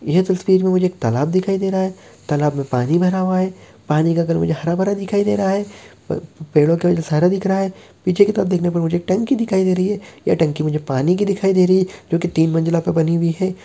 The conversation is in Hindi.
यह तस्वीर में मुझे एक तालाब दिखाई दे रहा है तालाब में पानी भरा हुआ है पानी का कलर मुझे हरा भरा दिखाई दे रहा है पेड़ों के वजह से हरा दिख रहा है पीछे की तरफ देखने पे मुझे एक टंकी दिखाई दे रही है ये टंकी मुझे पानी की दिखाई दे रही है जो कि तीन मंजिला पर बनी हुई है।